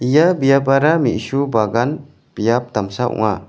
ia biapara me·su bagan biap damsa ong·a.